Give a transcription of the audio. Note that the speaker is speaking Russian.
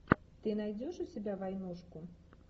ты найдешь у себя войнушку